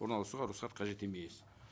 орналасуға рұқсат қажет емес